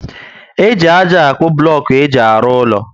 E ji ájá akpu bulocku éjị arụ úlọ